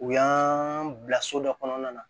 U y'an bila so dɔ kɔnɔna na